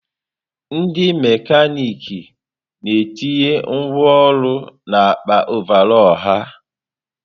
Ndị mekanịkị na-etinye ngwá ọrụ n'akpa ọvarọọr ha.